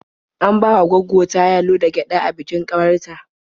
An bawa gwaggo ta yalo da gyaɗa a bikin ƙawar ta.